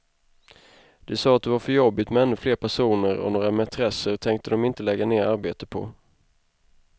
De sa att det var för jobbigt med ännu fler personer, och några mätresser tänkte dom inte lägga ner arbete på.